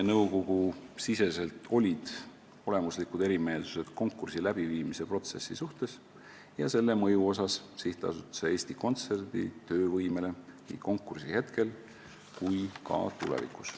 Nõukogus olid olemuslikud erimeelsused konkursi läbiviimise protsessi ja selle mõju kohta SA Eesti Kontsert töövõimele nii konkursi hetkel kui ka tulevikus.